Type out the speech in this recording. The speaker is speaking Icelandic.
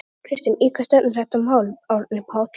Þóra Kristín: Í hvað stefnir þetta mál Árni Páll?